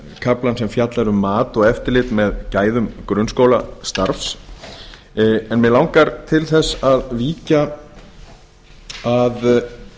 kaflann sem fjallar um mat og eftirlit með gæðum grunnskólastarfs enn mig langar til þess að víkja að